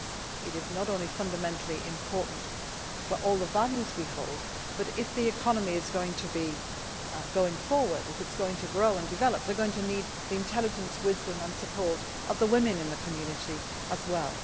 It is not only fundamentally important for all the values we hold, but if the economy is going to go forward, grow and develop, they are going to need the intelligence, wisdom and support of the women in the community as well.